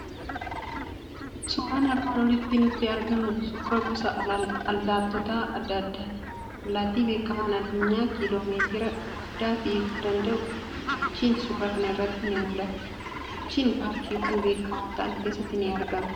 Suuraan armaan oliitti nutti argamu suuraa gosa allaattota adda addaati. Allaatti beekamaan addunyaa kiloomeetira guddaa fiiguu danda'u, guchiin suuraa kana irratti ni mul'ata. Guchiin paarkiiwwan beekamoo ta'an keessatti ni argama.